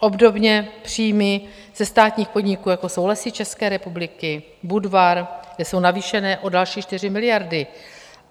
Obdobně příjmy ze státních podniků, jako jsou Lesy České republiky, Budvar, kde jsou navýšeny o další 4 miliardy.